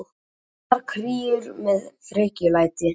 Engar kríur með frekjulæti.